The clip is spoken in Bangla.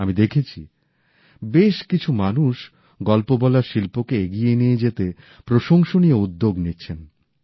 আমি দেখেছি বেশ কিছু মানুষ গল্প বলার শিল্পকে এগিয়ে নিয়ে যেতে প্রশংসনীয় উদ্যোগ নিচ্ছেন